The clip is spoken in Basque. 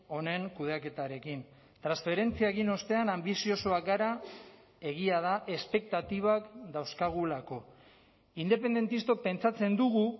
honen kudeaketarekin transferentzia egin ostean anbiziosoak gara egia da espektatibak dauzkagulako independentistok pentsatzen dugu